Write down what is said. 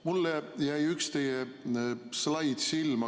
Mulle jäi silma üks teie slaid.